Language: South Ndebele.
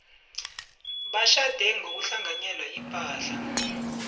batjhade ngokuhlanganyela ipahla